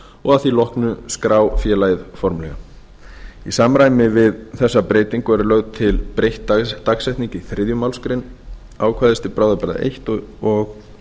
og að því loknu skrá félagið formlega í samræmi við þessa breytingu er lögð til breytt dagsetning í þriðju málsgrein ákvæðis til bráðabirgða eins og